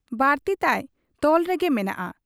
ᱵᱟᱨᱛᱤ ᱛᱟᱭ ᱛᱚᱞ ᱨᱮᱜᱮ ᱢᱮᱱᱟᱜ ᱟ ᱾